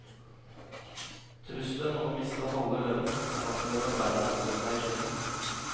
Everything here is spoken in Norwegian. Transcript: Trusselen om å miste halve lønnen er nok til at arbeiderne holder seg i skinnet.